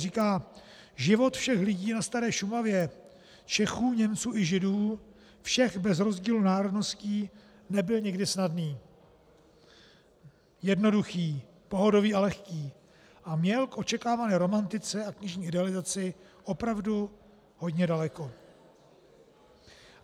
Říká: Život všech lidí na staré Šumavě, Čechů, Němců i Židů, všech bez rozdílu národností, nebyl nikdy snadný, jednoduchý, pohodový a lehký a měl k očekávané romantice a knižní idealizaci opravdu hodně daleko.